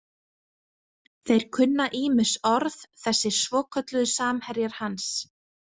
Þeir kunna ýmis orð, þessir svokölluðu samherjar hans.